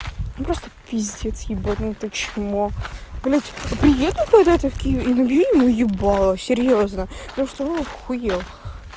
ну просто пиздец ебанутое чмо блядь приедет когда набей ему ебала серьёзно потому что он ахуел